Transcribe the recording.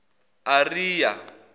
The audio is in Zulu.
ariya